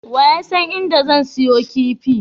Waye yasan inda zan siyo kifi?